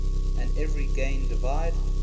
and every gain divine